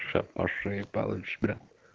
сейчас по шее получишь бля